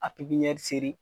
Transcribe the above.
A pipiɲɛri seri.